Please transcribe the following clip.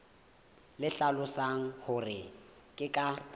le hlalosang hore ke ka